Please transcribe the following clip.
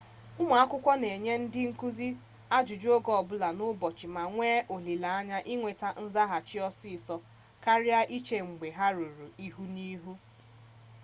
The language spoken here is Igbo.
ụmụ akwụkwọ na-enye ndị nkụzi ajụjụ oge ọbụla n'ụbochị ma nwee olileanya inweta nzaghachi ọsịsọ karịa iche mgbe ha hụrụ ihu n'ihu